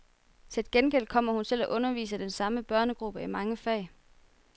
Til gengæld kommer hun til at undervise den samme børnegruppe i mange fag.